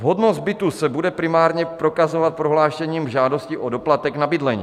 Vhodnost bytů se bude primárně prokazovat prohlášením žádosti o doplatek na bydlení.